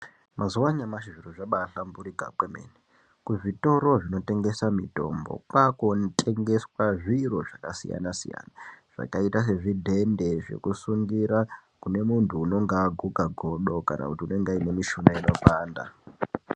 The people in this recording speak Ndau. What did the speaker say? Mazuwa anyamashi zviro zvabahlamburika kwemene kuzvitoro zvinotengesa mitombo kwakutengeswe zviro zvakasiyana siyana zvakaita sezvidhende zvekusungira kune muntu unonga aguka godo kana kuti unonga aine mishuna inopanda.